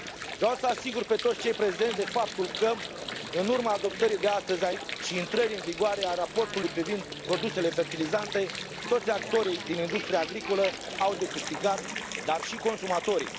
Vreau să asigur pe toți cei prezenți de faptul că, în urma adoptării de astăzi și a intrării în vigoare a raportului privind produsele fertilizante, toți actorii din industria agricolă au de câștigat, dar și consumatorii.